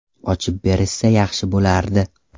Ochib berishsa yaxshi bo‘lardi.